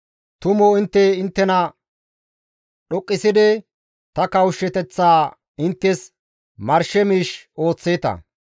Tumu intte inttena dhoqqisidi ta kawushshateththaa inttes marshe miish ooththeeta.